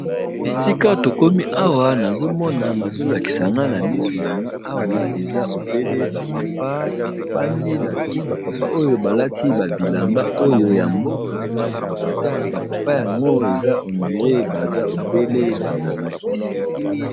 Esika tokomi awa nazomona bazo lakisa nga na miso na nga awa eza obele ba papa, bafandi na se ba papa oyo ba lati ba bilamba oyo ya mboka ba papa yango eza ondire baza obele ba nganga kisi.